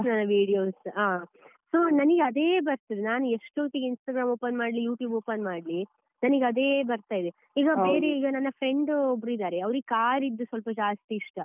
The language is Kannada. ಕೃಷ್ಣನ videos ಇಷ್ಟ ಹ so ನನ್ಗೆ ಅದೇ ಬರ್ತದೆ ನಾನು ಎಷ್ಟು ಹೊತ್ತಿಗೆ Instagram open ಮಾಡ್ಲಿ, YouTube open ಮಾಡ್ಲಿ ನನಗೆ ಅದೇ ಬರ್ತಾ ಇದೆ ಈಗ ಬೇರೆ ಈಗ ನನ್ನ friend ಒಬ್ರು ಇದ್ದಾರೆ ಅವರಿಗೆ car ಇದು ಜಾಸ್ತಿ ಇಷ್ಟ.